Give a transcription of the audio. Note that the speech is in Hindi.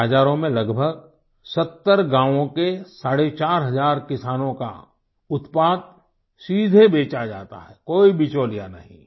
इन बाज़ारों में लगभग 70 गाँवों के साढ़े चार हज़ार किसानों का उत्पाद सीधे बेचा जाता है कोई बिचौलिया नहीं